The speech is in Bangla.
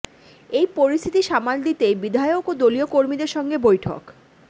এই পরিস্থিতি সামাল দিতেই বিধায়ক ও দলীয় কর্মীদের সঙ্গে বৈঠক